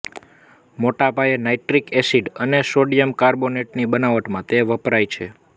મોટા પાયે nitric acid અને સોડિયમ કાર્બોનેટની બનાવટમાં તે વપરાય છે